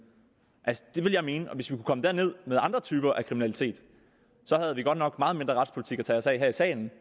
altså det vil jeg mene hvis vi kunne komme derned med andre typer af kriminalitet havde vi godt nok meget mindre retspolitik at tage os af her i salen